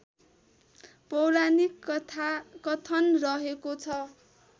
पौराणिक कथन रहेको छ